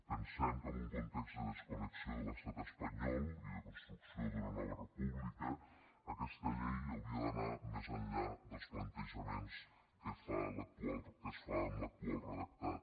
pensem que en un context de desconnexió de l’estat espanyol i de construcció d’una nova república aquesta llei hauria d’anar més enllà dels plantejaments que es fa amb l’actual redactat